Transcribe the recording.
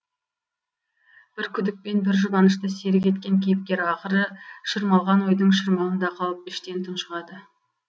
бір күдік пен бір жұбанышты серік еткен кейіпкер ақыры шырмалған ойдың шырмауында қалып іштен тұншығады